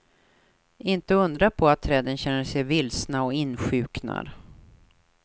Inte undra på att träden känner sig vilsna och insjuknar.